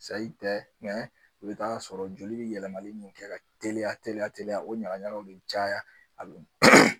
tɛ i bɛ t'a sɔrɔ joli bɛ yɛlɛmalen min kɛ ka teliya teliya teliya o ɲaga ɲagaw bɛ caya a bɛ